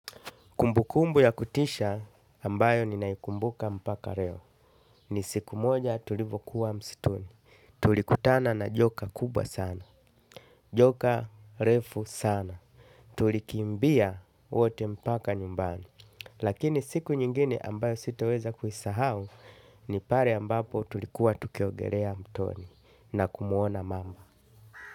Kumbukumbu ya kutisha ambayo ninaikumbuka mpaka reo. Ni siku moja tulivokuwa msituni. Tulikutana na joka kubwa sana. Joka refu sana. Tulikimbia wote mpaka nyumbani. Lakini siku nyingine ambayo sitaweza kuisahau ni pare ambapo tulikuwa tukiogerea mtoni na kumuona mamba.